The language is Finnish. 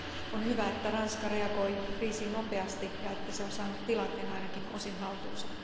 On hyvä, että Ranska reagoi kriisiin nopeasti ja että se on saanut tilanteen ainakin osin haltuunsa.